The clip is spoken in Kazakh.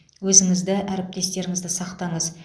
өзіңізді әріптестеріңізді сақтаңыз